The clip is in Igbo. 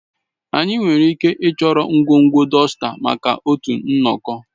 Anyị nwere ike ịchọrọ ngwugwu dọsta maka otu nnọkọ